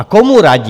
A komu radí?